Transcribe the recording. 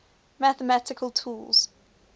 mathematical tools